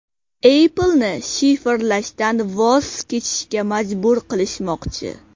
Apple’ni shifrlashdan voz kechishga majbur qilishmoqchi.